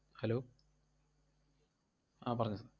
Hello ആഹ് പറഞ്ഞോ.